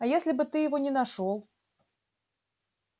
а если бы ты его не нашёл